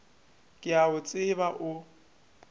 ke a go tseba o